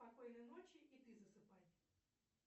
спокойной ночи и ты засыпай